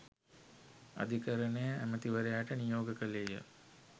අධිකරණය ඇමැතිවරයාට නියෝග කළේය.